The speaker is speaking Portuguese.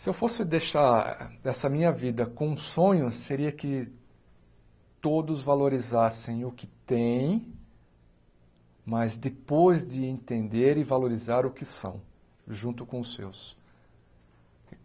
Se eu fosse deixar essa minha vida com um sonho, seria que todos valorizassem o que têm, mas depois de entender e valorizar o que são, junto com os seus.